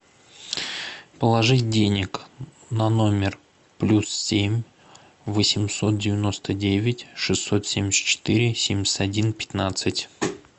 положить денег на номер плюс семь восемьсот девяносто девять шестьсот семьдесят четыре семьдесят один пятнадцать